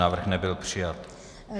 Návrh nebyl přijat.